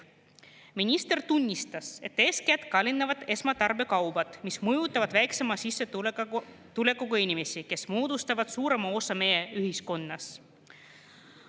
" Minister tunnistas, et eeskätt kallinevad esmatarbekaubad, mis mõjutavad väiksema sissetulekuga inimesi, kes moodustavad suurema osa meie ühiskonnast.